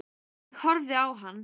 Ég horfði á hann.